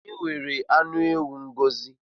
Onye nwere anụ ewu Ngọzi?